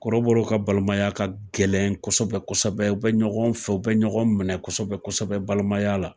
Kɔrɔbɔrɔ ka balimaya ka gɛlɛn kosɛbɛ kosɛbɛ. U bɛ ɲɔgɔn fɛ u bɛ ɲɔgɔn minɛ kosɛbɛ kosɛbɛ balimaya la.